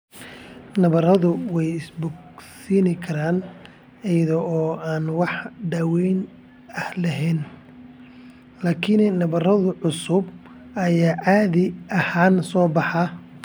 Nabaradu way is bogsiin karaan iyada oo aan wax daaweyn ah la helin, laakiin nabarro cusub ayaa caadi ahaan soo baxa.